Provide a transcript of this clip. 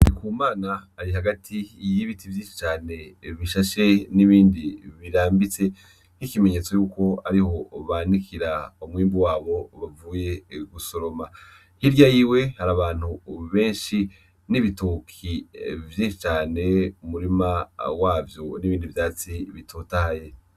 Iku mana ari hagati iyibiti vyinshi cane bishashe n'ibindi birambitse nk'ikimenyetso yuko ariho ubanikira umwimbu wabo ubavuye gusoroma hirya yiwe hari abantu ububenshi n'ibituki vyinshi cane umurima wavyo n'ibindi vyatsi bitota ale.